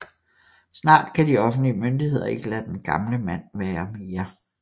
Snart kan de offentlige myndigheder ikke lade den gamle mand være mere